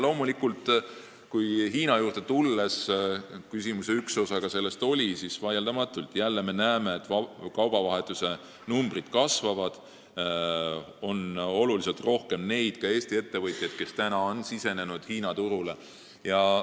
Kui uuesti Hiina juurde tulla – küsimuse üks osa oli selle kohta –, siis me näeme, et kaubavahetuse numbrid vaieldamatult kasvavad ja oluliselt rohkem on ka neid Eesti ettevõtjaid, kes on Hiina turule sisenenud.